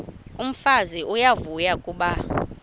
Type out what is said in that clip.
umfazi uyavuya kuba